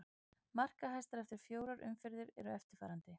Markahæstar eftir í fjórar umferð eru eftirfarandi: